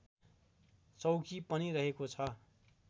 चौकी पनि रहेको छ